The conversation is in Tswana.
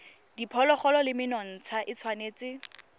diphologolo le menontsha e tshwanetse